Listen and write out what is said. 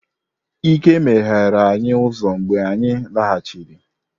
Ike meghere anyi uzo mgbe anyi laghachiri.